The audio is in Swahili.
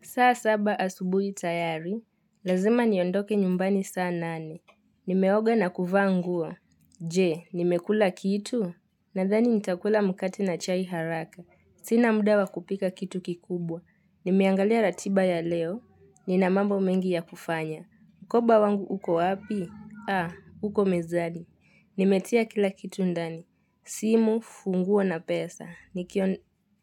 Saa saba asubuhi tayari, lazima niondoke nyumbani saa nane. Nimeoga na kuvaa nguo Je, nimekula kitu? Nadhani nitakula mkate na chai haraka. Sina muda wa kupika kitu kikubwa. Nimeangalia ratiba ya leo. Nina mambo mengi ya kufanya. Mkoba wangu huko api? Ha, uko mezani. Nimetia kila kitu ndani. Simu, funguo na pesa.